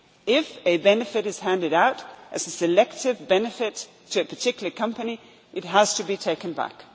with. If a benefit is handed out as a selective benefit to a particular company, it has to be taken